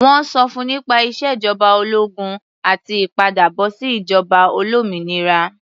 Wọ́n sọ fún nípa ìṣèjọba ológun àti ìpadàbọ̀sí ìjọba olómìnira.